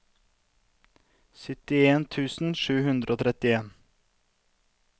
syttien tusen sju hundre og trettien